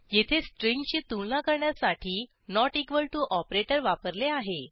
येथे स्ट्रिंगची तुलना करण्यासाठी not इक्वॉल टीओ ऑपरेटर वापरले आहे